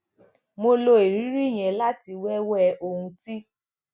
mo lo ìrírí yẹn láti wéwèé ohun tí